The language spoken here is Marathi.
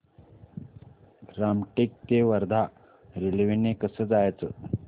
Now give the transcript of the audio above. रामटेक ते वर्धा रेल्वे ने कसं जायचं